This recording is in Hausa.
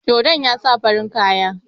Dodon ya sa farin kaya.